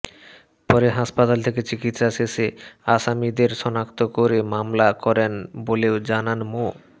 পরে হাসপাতাল থেকে চিকিৎসা শেষে আসামিদের শনাক্ত করে মামলা করেন বলেও জানান মো